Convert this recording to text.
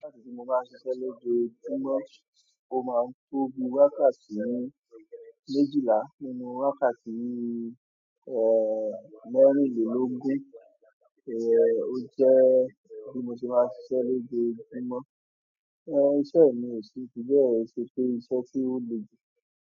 Wákàtí tí mo máa ń ṣiṣẹ́ lójojumọ, ó máa ń tóbi wákàtí méjìlá, nínú wákàtí, mẹ́rìnlélógún o jẹ́ bí mo ti máa ṣiṣẹ́ lójojumọ, iṣẹ́ mi ò ṣe fibẹ ṣe pé iṣẹ́ tí ó le ju.